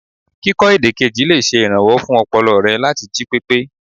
Kíkọ èdè kejì lè ṣe ìrànwọ́ fún ọpọlọ re láti jí pépé.